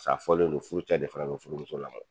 Sa fɔlen do furucɛ de fana be furumuso lamɔ